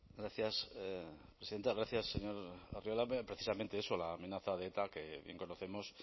gracias presidenta gracias señor arriola bien precisamente eso la amenaza de eta que bien conocemos